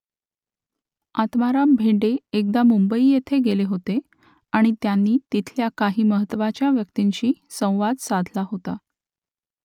आत्माराम भेंडे एकदा मुंबई येथे गेले होते आणि त्यांनी तिथल्या काही महत्त्वाच्या व्यक्तींशी संवाद साधला होता